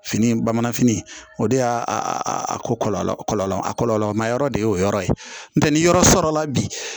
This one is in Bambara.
Fini bamananfini o de y'a ko kɔlɔlɔ kɔlɔlɔ ma yɔrɔ de y'o yɔrɔ ye n'o tɛ ni yɔrɔ sɔrɔla bi